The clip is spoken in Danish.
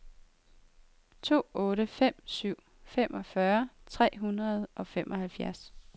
to otte fem syv femogfyrre tre hundrede og femoghalvfjerds